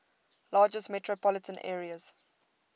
largest metropolitan areas